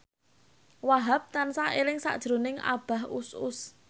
Wahhab tansah eling sakjroning Abah Us Us